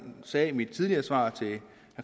sagde i mit tidligere svar til herre